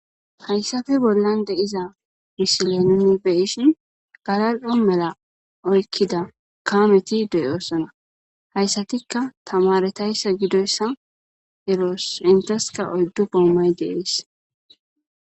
Hayissappe bollani dizza misileni nuni beyishini galali'o medha oyikida kameti deyossona hayissatikka tamaretayisa gidoyissa beyosi, iyasikka oyiddu gomayi deyesi